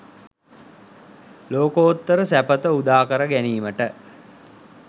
ලෝකෝත්තර සැපත උදාකර ගැනීමට